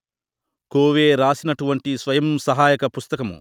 కోవే రాసినటువంటి స్వయం సహాయక పుస్తకము